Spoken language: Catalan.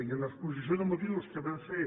i l’exposició de motius que vam fer